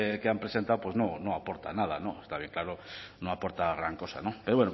que han presentado no aporta nada está bien claro no aporta gran cosa pero